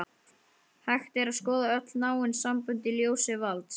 Hægt er að skoða öll náin sambönd í ljósi valds.